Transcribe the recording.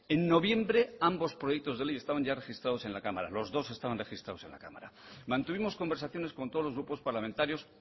en noviembre ambos proyectos de ley estaban registrados en la cámara los dos estaban registrados en la cámara mantuvimos conversaciones con todos los grupos parlamentarios